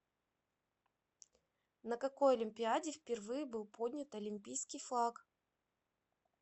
на какой олимпиаде впервые был поднят олимпийский флаг